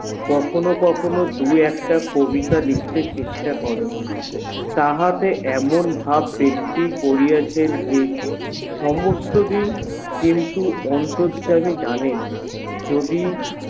কখনো কখনো দুই একটা কবিতা লিখতে চেষ্টা করে তাহাতে এমন ভাব দেখতি করিয়াছেন যে সমস্ত দিক কিন্তু অন্তর্যামী যানেন যদি